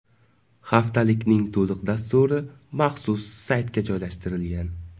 Haftalikning to‘liq dasturi maxsus saytga joylashtirilgan.